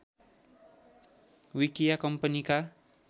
विकिया कम्पनीका